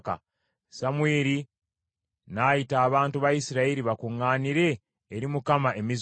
Samwiri n’ayita abantu ba Isirayiri bakuŋŋaanire eri Mukama e Mizupa .